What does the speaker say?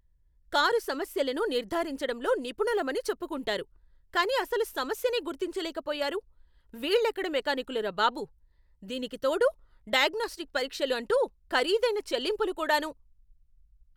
Car సమస్యలను నిర్ధారించడంలో నిపుణులమని చెప్పుకుంటారు, కానీ అసలు సమస్యనే గుర్తించలేక పోయారు, వీళ్ళెక్కడ మెకానిక్కులురా బాబు! దీనికి తోడు 'డయాగ్నొస్టిక్ పరీక్షలు' అంటూ ఖరీదైన చెల్లింపులు కూడాను !